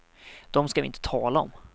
Dem ska vi inte tala om.